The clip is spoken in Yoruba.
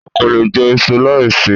O kò lè jẹ iṣu láì ṣe é.